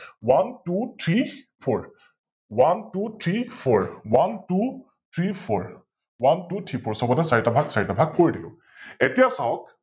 OneTwoThreeFour, OneTwoThreeFour, OneTwoThreeFour, OneTwoThreeFour সৱতে চাৰিটা ভাগ চাৰিটা ভাগ কৰি দিলো । এতিয়া চাওক